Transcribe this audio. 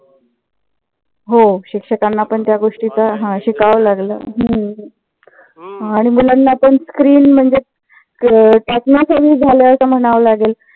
हो शिक्षकांना पण त्या गोष्टींचा शिकाव लागल. हम्म आणि मुलांना पण screen म्हणजे अं त्यातन कमी झालाय का म्हणाव लागेल.